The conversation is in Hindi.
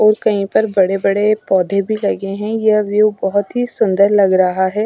और कहीं पर बड़े बड़े पौधे भी लगे हैं यह व्यू बहोत ही सुंदर लग रहा है।